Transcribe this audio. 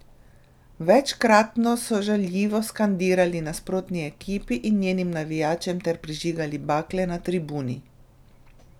Večkratno so žaljivo skandirali nasprotni ekipi in njenim navijačem ter prižigali bakle na tribuni.